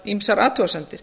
ýmsar athugasemdir